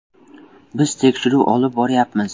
“Biz tekshiruv olib boryapmiz.